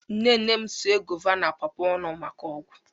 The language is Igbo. nne nne m sie guava na pawpaw ọnụ maka ọgwụ